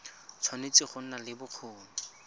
tshwanetse go nna le bokgoni